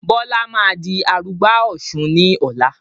Bọlá máa di arugbá Ọ̀sun ni ọ̀la